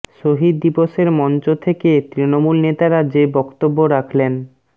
শহিদ দিবসের মঞ্চ থেকে তৃণমূল নেতারা যে বক্তব্য রাখলেন